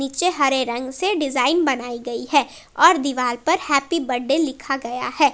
हरे रंग से डिजाइन बनाई गई है और दीवार पर हैप्पी बर्थडे लिखा गया है।